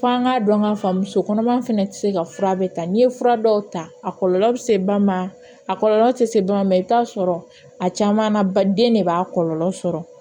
Fɔ an k'a dɔn k'a fɔ muso kɔnɔma fɛnɛ tɛ se ka fura bɛ ta n'i ye fura dɔw ta a kɔlɔlɔ bɛ se ba ma a kɔlɔlɔ tɛ se ba ma i bɛ t'a sɔrɔ a caman na ba den de b'a kɔlɔlɔ sɔrɔ